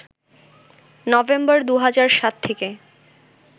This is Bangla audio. নভেম্বর ২০০৭ থেকে